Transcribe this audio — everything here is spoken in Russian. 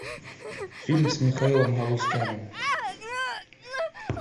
фильм с михаилом галустяном